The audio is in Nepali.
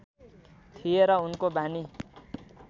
थिए र उनको वानी